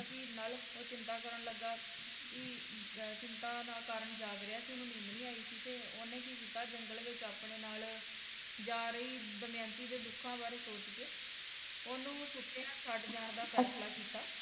ਸੀ ਨਲ ਓਹ ਚਿੰਤਾ ਕਰਨ ਲੱਗਾ ਵੀ ਚਿੰਤਾ ਦਾ ਕਾਰਨ ਜਾਗ ਰਿਹਾ ਸੀ ਓਹਨੂੰ ਨੀਂਦ ਨਹੀਂ ਆਈ ਸੀ ਓਹਨੇ ਕੀ ਕੀਤਾ ਜੰਗਲ ਵਿੱਚ ਆਪਣੇ ਨਾਲ ਜਾ ਰਹੀ ਦਮਯੰਤੀ ਦੇ ਦੁੱਖਾਂ ਬਾਰੇ ਸੋਚ ਕੇ ਓਹਨੂੰ ਸੁੱਤਿਆਂ ਛੱਡ ਜਾਣ ਦਾ ਫੈਂਸਲਾ ਕੀਤਾ